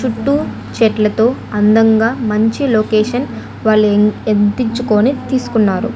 చుట్టు చెట్లతో అందంగా మంచి లోకేషన్ వాళ్లు ఎత్తించుకొని తీసుకున్నారు.